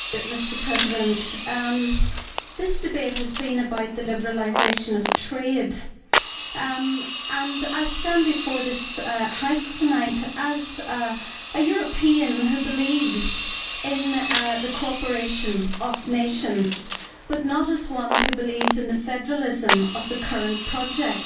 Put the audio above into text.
Mr President, this debate has been about the liberalisation of trade, and I stand before this House tonight as a European who believes in the cooperation of nations, but not as one who believes in the federalism of the current project.